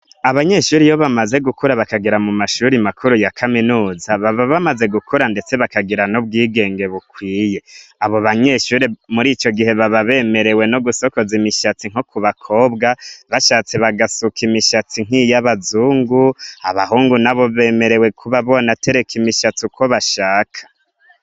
Abanyeshuri ibo bamaze gukura bakagira mu mashuri makuru ya kaminuza baba bamaze gukura, ndetse bakagira n'ubwigenge bukwiye abo banyeshuri muri ico gihe baba bemerewe no gusokoza imishatsi nko ku bakobwa bashatse bagasuka imishatsu nk'iyo abazungu abahungu na bo bemerewe kuba bona tereka imishatsu ukoba shaka.